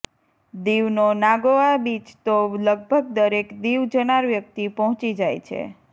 દીવનો Nagoa beach તો લગભગ દરેક દીવ જનાર વ્યક્તિ પહોંચી જાય છે